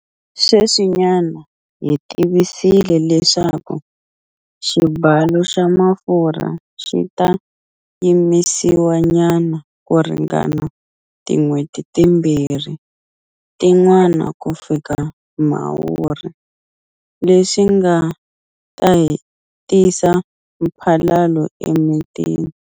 Sweswinyana hi tivisile leswaku xibalo xa mafurha xi ta yimisiwanyana ku ringana tin'hweti timbirhi tin'wana kufika Mhawuri, leswi nga ta tisa mphalalo emitini.